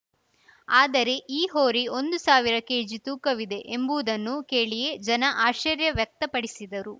ಆದರೆ ಈ ಹೋರಿ ಒಂದು ಸಾವಿರ ಕೆಜಿ ತೂಕವಿದೆ ಎಂಬುದನ್ನು ಕೇಳಿಯೇ ಜನ ಆಶ್ಚರ್ಯ ವ್ಯಕ್ತಪಡಿಸಿದರು